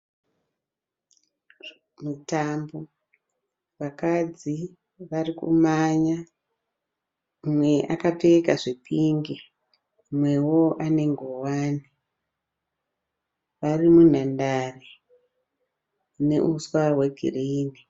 Mutambo, vakadzi varikumanya, umwe akapfeka zvepingi umwe akapfeka ngowani, vari munhandare muneuswa hwegirini.